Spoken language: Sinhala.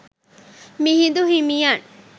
මිහිඳු හිමියන්